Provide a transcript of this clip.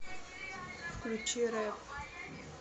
включи рэп